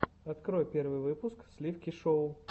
открой первый выпуск сливки шоу